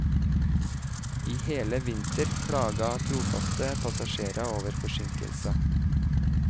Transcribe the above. I hele vinter klaget trofaste passasjerer over forsinkelser.